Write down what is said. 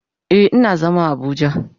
Eh, ina zama a abuja.